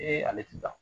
ale ti taa